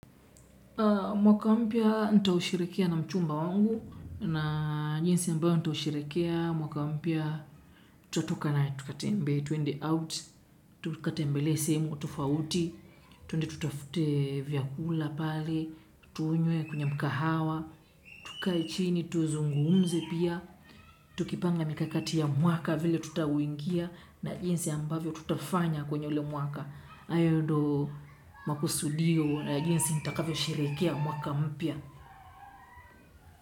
Mwaka mpya nitaushirikia na mchumba wangu na jinsi ambao nitaushirikia mwaka mpya tutatoka na tukatembe, tuende out, tukatembelee sehemu, tofauti, tuende tutafute vyakula pale, tuunye kwenye mkahawa, tukae chini, tuzungumze pia, Tukipanga mikakati ya mwaka vile tutawingia. Na jinsi ambavyo tutafanya kwenye ule mwaka. Ayo ndo makusudio na jinsi nitakavyo sherekea mwaka mpia.